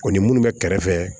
O ni munnu bɛ kɛrɛfɛ